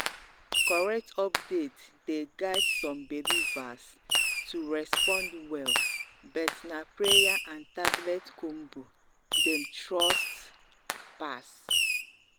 correct update dey guide some believers to respond well bet na prayer and tablet combo dem trust pass.